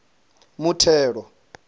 muthelo